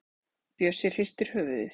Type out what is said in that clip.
Bjössi hristir höfuðið.